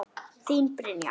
Þín Brynja.